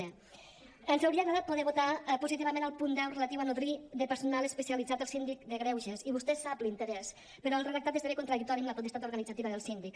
cens hauria agradat poder votar positivament el punt deu relatiu a nodrir de personal especialitzat el síndic de greuges i vostè sap l’interès però el redactat esdevé contradictori amb la potestat organitzativa del síndic